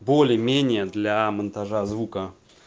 более-менее для монтажа звука